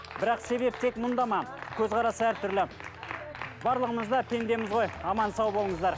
бірақ себеп тек мында ма көзқарас әртүрлі барлығымыз да пендеміз ғой аман сау болыңыздар